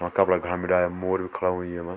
वहाँ कपड़ा घाम भी डाल्या मोर भी खड़ा होयां येमा।